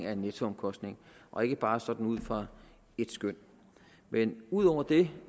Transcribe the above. er en nettoomkostning og ikke bare sådan noget ud fra et skøn men ud over det